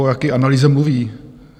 O jaké analýze mluví?